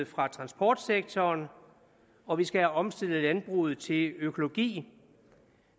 fra transportsektoren og vi skal have omstillet landbruget til økologi